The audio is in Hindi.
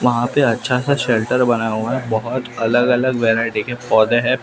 वहां पे अच्छा सा शेल्टर बना हुआ है बहुत अलग-अलग वैरायटी के पौधे हैं।